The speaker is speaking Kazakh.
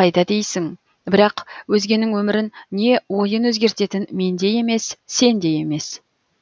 қайда дейсің бірақ өзгенің өмірін не ойын өзгертетін мен де емес сен де емес